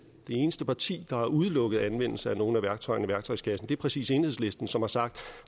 eneste parti der har udelukket anvendelse af nogen af værktøjerne i værktøjskassen er præcis enhedslisten som har sagt